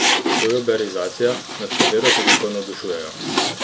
To je uberizacija, nad katero se tako navdušujejo.